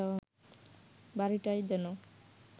বাড়িটায় যেন